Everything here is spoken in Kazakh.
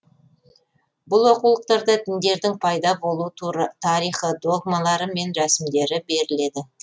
бұл оқулықтарда діндердің пайда болу тарихы догмалары мен рәсімдері беріледі